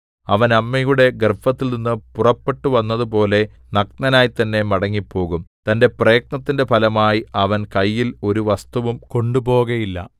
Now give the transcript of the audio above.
അവൻ അമ്മയുടെ ഗർഭത്തിൽനിന്ന് പുറപ്പെട്ടുവന്നതുപോലെ നഗ്നനായി തന്നെ മടങ്ങിപ്പോകും തന്റെ പ്രയത്നത്തിന്റെ ഫലമായി അവൻ കയ്യിൽ ഒരു വസ്തുവും കൊണ്ടുപോകയില്ല